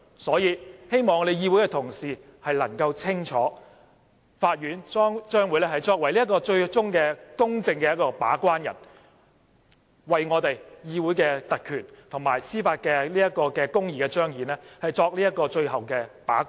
所以，希望我們議會的同事能清楚，法院最終將會是公正的把關人，為我們議會的特權及彰顯司法公義作最後把關。